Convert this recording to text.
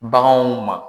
Baganw ma